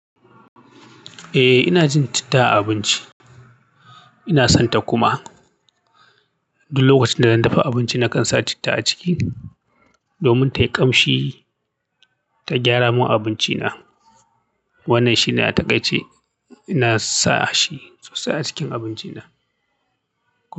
Eh, ina jin citta a abinci. Ina sonta kuma. Duk lokacin da zan dafa abinci nakan sa citta a ciki. Domin tayi kamshi ta gyaramun abincina. Wannan shine a takaice. Ina sashi sosai a acikin abinci na.